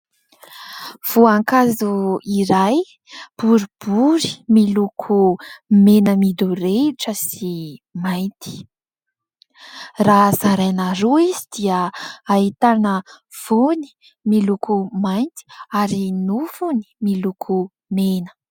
Voankazo iray boribory, miloko mena midorehitra sy mainty. Raha zaraina roa izy, dia ahitana voany miloko mainty ary nofony miloko mena.